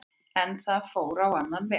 En það fór á annan veg